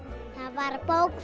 var bók